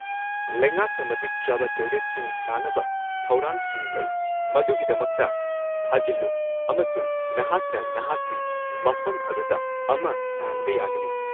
ꯂꯩꯉꯥꯛꯅ ꯃꯇꯤꯛ ꯆꯥꯕ ꯇꯣꯏꯂꯦꯠꯁꯤꯡ ꯁꯥꯅꯕ ꯊꯧꯔꯥꯡꯁꯤꯡ ꯂꯩ, ꯃꯗꯨꯒꯤꯗꯃꯛꯇ ꯊꯥꯖꯤꯜꯂꯨ ꯑꯃꯁꯨꯡ ꯅꯍꯥꯛꯅ ꯅꯍꯥꯛꯀꯤ ꯃꯐꯝ ꯑꯗꯨꯗ ꯑꯃ ꯁꯥꯍꯟꯕ ꯌꯥꯒꯅꯤ꯫